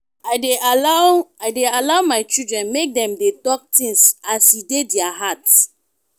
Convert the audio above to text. i dey allow i dey allow my children make dem dey tok tins as e dey their heart.